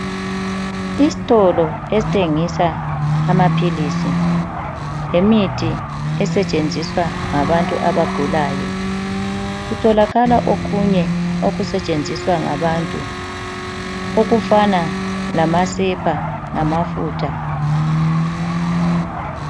Isitolo esithengisa amaphilisi, lemithi esetshenziswa ngabantu abagulayo. Kutholakala okunye okusetshenziswa ngabantu, okufana lamasepa, lamafutha